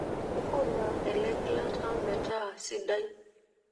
nkuna elegilata meeta sidai